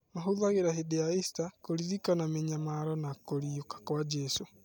Mahũthagĩra hĩndĩ ya Ista, kũririkana mĩnyamaro na kũriũka kwa Jesũ.